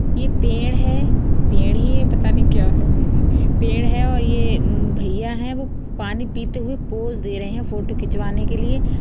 ये पेड़ है| पेड़ ही है पता नहीं क्या है पेड़ है| ये भैया है वो पानी पीते हुए पोस दे रहे हैं| फोटो खिंचवाने के लिए।